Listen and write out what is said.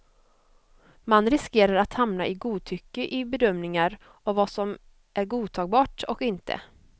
Man riskerar att hamna i godtycke i bedömningar av vad som är godtagbart och inte.